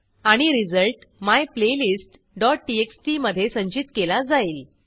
आणि रिझल्ट myplaylistटीएक्सटी मधे संचित केला जाईल